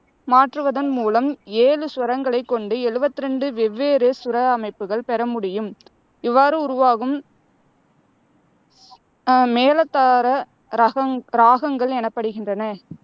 மாற்றுவதன் மூலம், ஏழு சுரங்களைக்கொண்டு எழுவத்தி ரெண்டு வெவ்வேறு சுர அமைப்புகள் பெற முடியும். இவ்வாறு உருவாகும் அஹ் மேரதார ரகங்க் இராகங்கள் எனப்படுகின்றன.